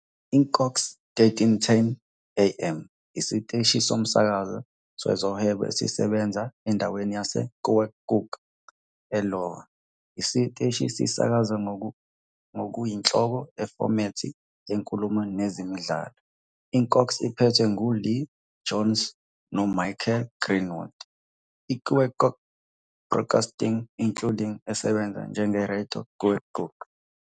I-KOKX, 1310 AM, isiteshi somsakazo sezohwebo esisebenza endaweni yaseKeokuk, e-Iowa. Isiteshi sisakaza ngokuyinhloko ifomethi yenkulumo nezemidlalo. IKOKX iphethwe nguLeah Jones noMichael Greenwald, Keokuk Broadcasting Inc. esebenza njengeRadio Keokuk.